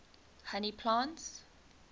honey plants